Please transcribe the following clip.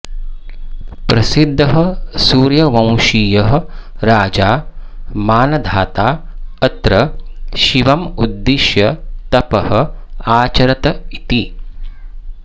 प्रसिद्धः सूर्यवंशीयः राजा मान्धाता अत्र शिवम् उद्दिश्य तपः आचरत् इति